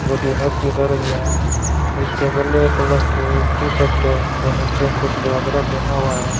जो किन्नर के क रही है इसके ब्लैक कलर की टी-शर्ट और नीचे कुछ घाघरा पहना हुआ है।